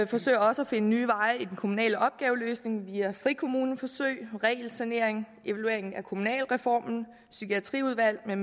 forsøger også at finde nye veje i den kommunale opgaveløsning via frikommuneforsøg regelsanering evaluering af kommunalreformen psykiatriudvalg